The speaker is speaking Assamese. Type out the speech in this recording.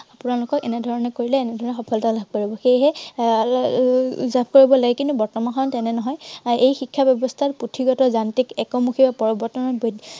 আপোনালোকেও এনেধৰনে কৰিলে এনেধৰনে সফলতা লাভ কৰিব পাৰিব। সেয়েহে এৰ কিন্তু বৰ্তমান সময়ত তেনে নহয়। এই শিক্ষা ব্য়ৱস্থাই পুথিগত, যান্ত্ৰিক, একমূখী আৰু